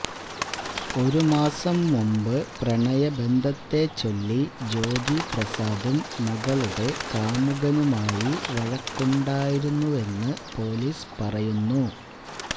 ഒരുമാസം മുമ്പ് പ്രണയബന്ധത്തെച്ചൊല്ലി ജ്യോതിപ്രസാദും മകളുടെ കാമുകനുമായി വഴക്കുണ്ടായിരുന്നെന്നു പോലീസ് പറയുന്നു